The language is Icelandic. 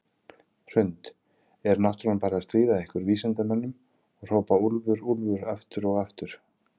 Hrund: Er náttúran bara að stríða ykkur vísindamönnunum og hrópa úlfur, úlfur aftur og aftur?